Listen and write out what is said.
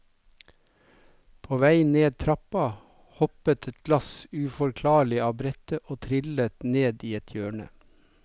På vei ned trappa hoppet et glass uforklarlig av brettet og trillet ned i et hjørne.